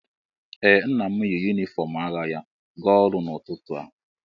Ee, Nna m yi yunifọm agha ya gaa ọrụ n'ụtụtụ a